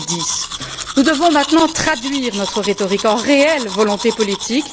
2010. Nous devons maintenant traduire notre rhétorique en réelle volonté politique.